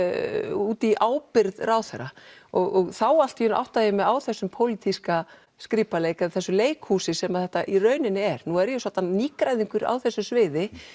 út í ábyrgð ráðherra og þá allt í einu áttaði ég mig á þessum pólitíska skrípaleik eða þessu leikhúsi sem þetta í rauninni er nú er ég svoddan nýgræðingur á þessu sviði